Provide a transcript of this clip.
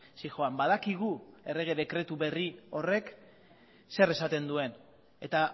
zihoan badakigu errege dekretu berri horrek zer esaten duen eta